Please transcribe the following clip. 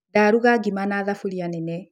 Ndaruga ngima na thuburia nene.